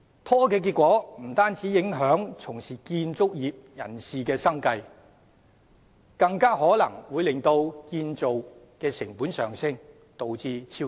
拖延的結果不單影響從事建築業人士的生計，更有可能令建造成本上升，導致超支。